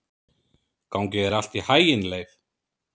Gangi þér allt í haginn, Leif.